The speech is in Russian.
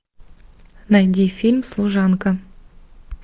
найди фильм служанка